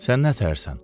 Sən nətərsən?